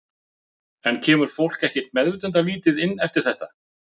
En kemur fólk ekkert meðvitundarlítið inn eftir þetta?